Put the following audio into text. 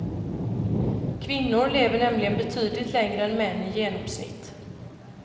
Kvinnor lever nämligen betydligt längre än män i genomsnitt.